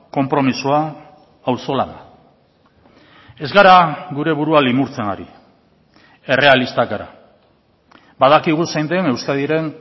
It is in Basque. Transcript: konpromisoa auzolana ez gara gure burua limurtzen ari errealistak gara badakigu zein den euskadiren